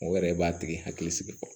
O yɛrɛ b'a tigi hakili sigi fɔlɔ